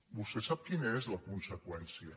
vostè sap quina és la conseqüència